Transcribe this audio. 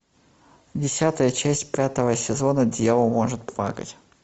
десятая часть пятого сезона дьявол может плакать